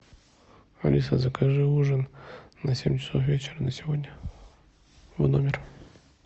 алиса закажи ужин на семь часов вечера на сегодня в номер